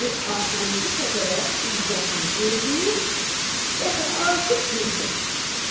Bu axırıncı fəqərə İzzətin qeyzini də artıq cuşa gətirdi.